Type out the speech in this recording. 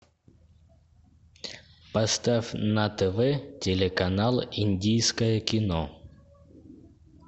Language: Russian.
поставь на тв телеканал индийское кино